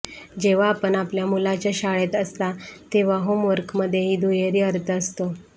जेव्हा आपण आपल्या मुलाच्या शाळेत असता तेव्हा होमवर्कमध्ये दुहेरी अर्थ असतो